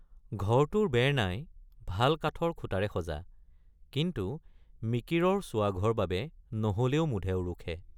ঘৰটোৰ বেৰ নাই, ভাল কাঠৰ খুটাৰে সজা, কিন্তু মিকিৰৰ চোৱা ঘৰ বাবে নহলেও মুধে উৰুখে।